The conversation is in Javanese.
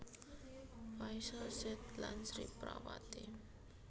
Faisal Said lan Sri Prawati